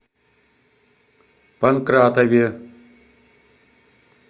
панкратове